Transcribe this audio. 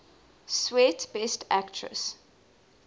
swet best actress